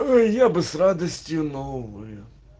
ээ я бы с радостью но увы